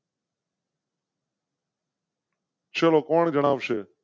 ચાલો કોણ જણાવ સે